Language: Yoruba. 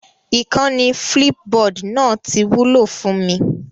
Ìkànnì Flipboard náà ti wúlò fún mi